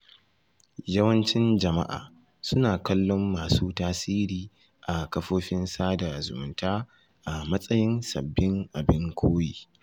Yawancin jama’a suna kallon masu tasiri a kafofin sada zumunta a matsayin sabbin abin koyi.